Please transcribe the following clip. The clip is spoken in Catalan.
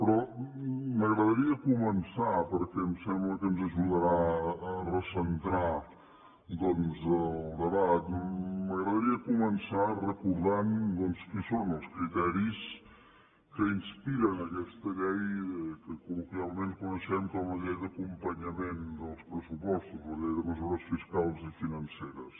però m’agradaria començar perquè em sembla que ens ajudarà a recentrar el debat m’agradaria començar recordant doncs quins són els criteris que inspiren aquesta llei que col·loquialment coneixem com la llei d’acompanyament dels pressupostos la llei de mesures fiscals i financeres